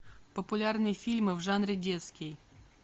популярные фильмы в жанре детский